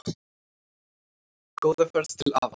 Góða ferð til afa.